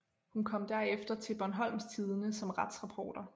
Hun kom derefter til Bornholms Tidende som retsreporter